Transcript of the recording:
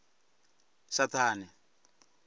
saṱhane